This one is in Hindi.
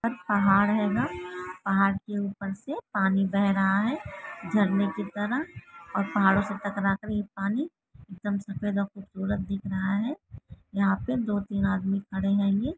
यहाँ पर पहाड़ है ना पहाड़ के उपर से पानी बह रहा है झरने की तरह और पहाड़ों से टकरा के ये पानी एकदम सफेद और खूबसूरत दिख रहा है यहाँ पर दो - तीन आदमी खड़े है।